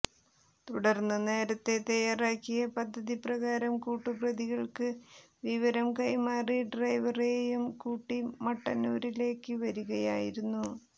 തുടർന്ന് നേരത്തെ തയാറാക്കിയ പദ്ധതി പ്രകാരം കൂട്ടുപ്രതികൾക്ക് വിവരം കൈമാറി ഡ്രൈവറെയും കൂട്ടി മട്ടന്നൂരിലേക്ക് വരികയായിരുന്നു